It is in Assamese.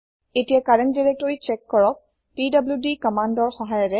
এতিয়া কাৰেন্ত দিৰেক্তৰি চ্যেক কৰক পিডিডি কমান্দৰ সহায়েৰে